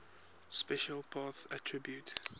special path attribute